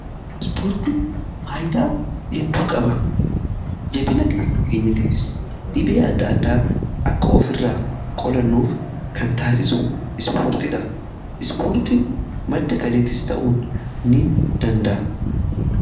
Ispoortiin faayyidaa hedduu qaba jabina qaamakeenyatiifis dhibee adda addaa akka of irraa qolannuuf kan taasisu ispoortidha. Ispoortiin madda kaliittis ta'uun ni danda'a.